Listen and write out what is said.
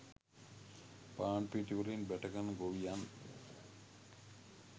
පාන්පිටි වලින් බැටකන ගොවියන්